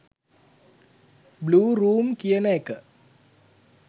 blue room කියන එක